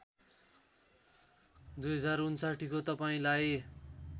२०६९ को तपाईँलाई